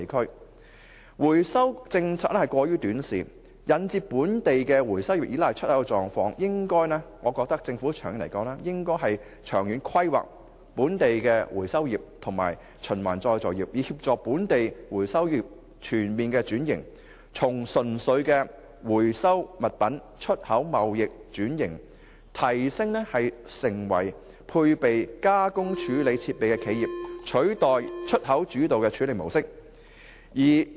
香港回收政策過於短視，引致本地回收業依賴出口，長遠而言，我認為政府應該長遠規劃本地回收業及循環再造業的發展，以協助本地回收業全面轉型，從純粹回收物品出口貿易，轉型提升為配備加工處理設備的企業，取代出口主導的處理模式。